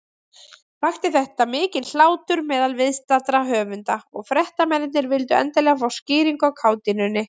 Vakti þetta mikinn hlátur meðal viðstaddra höfunda, og fréttamennirnir vildu endilega fá skýringu á kátínunni.